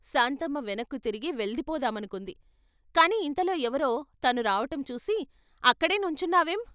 " శాంతమ్మ వెనక్కితిరిగి వెళ్ళిపోదామనుకుంది కాని ఇంతలో ఎవరో తను రావటంచూసి " అక్కడే నుంచున్నావేం?